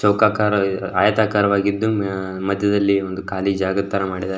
ಚೌಕಾಕಾರವಾಗಿ ಆಯತಾಕಾರವಾಗಿದ್ದು ಮದ್ಯದಲ್ಲಿ ಒಂದು ಖಾಲಿ ಜಾಗದ ತರ ಮಾಡಿದ್ದಾರೆ.